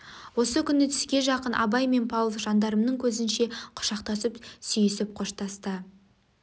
осы күні түске жақын абай мен павлов жандармның көзінше құшақтасып сүйісіп қоштасты